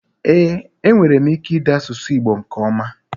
Ee enwerem ike ide asusu igbo nke oma.